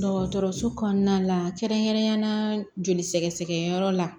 Dɔgɔtɔrɔso kɔnɔna la kɛrɛnkɛrɛnyala joli sɛgɛsɛgɛyɔrɔ la